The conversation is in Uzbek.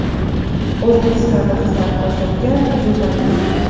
O‘zbekistonda xizmat ko‘rsatgan jurnalist.